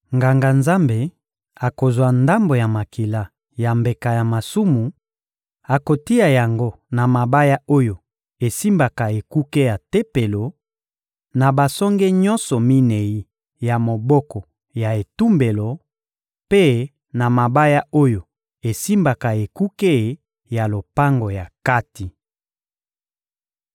Nganga-Nzambe akozwa ndambo ya makila ya mbeka ya masumu, akotia yango na mabaya oyo esimbaka ekuke ya Tempelo, na basonge nyonso minei ya moboko ya etumbelo mpe na mabaya oyo esimbaka ekuke ya lopango ya kati.